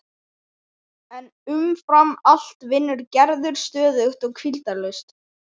En umfram allt vinnur Gerður stöðugt og hvíldarlaust.